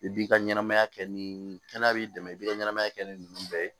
I b'i ka ɲɛnamaya kɛ ni kɛnɛ b'i dɛmɛ i b'i ka ɲɛnamaya kɛ ni nunnu bɛɛ ye